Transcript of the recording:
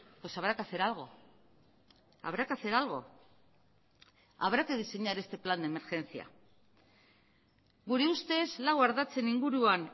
pues habrá que hacer algo habrá que hacer algo habrá que diseñar este plan de emergencia gure ustez lau ardatzen inguruan